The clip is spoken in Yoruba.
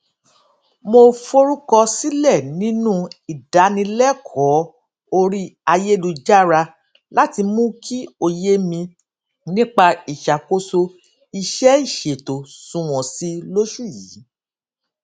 mo forúkọsílẹ nínú ìdánilẹkọọ orí ayélujára láti mú kí òye mi nípa ìṣàkóso iṣẹìṣètò sunwọn sí i lóṣù yìí